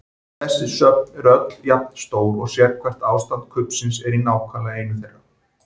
Þessi söfn eru öll jafn stór og sérhvert ástand kubbsins er í nákvæmlega einu þeirra.